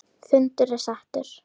Fundur er settur!